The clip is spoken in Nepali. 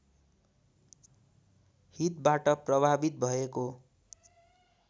हितबाट प्रभावित भएको